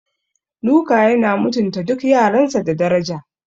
Luka yana mutunta duk yaransa da daraja.